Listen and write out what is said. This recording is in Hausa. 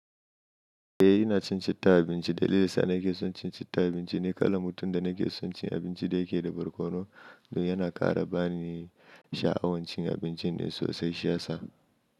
Eh ina cin citta abinci. Dalilin sa nake son cin citta abinci ni kala mutum da nake son cin abinci da yake da barkono kuma yana ƙara bani sha'awan cin abincin ne sosai shi ya sa.